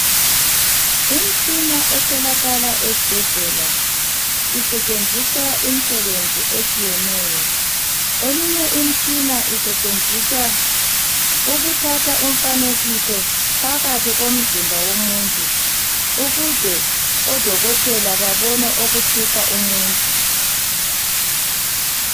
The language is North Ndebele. Imtshina etholakala ezibhedlela isetshenziswa imisebenzi etshiyeneyo. Eminye imtshina isetshenziswa ukuthatha umfanekiso phakathi komzimba womuntu ukuze odokotela babone okuhlupha umuntu.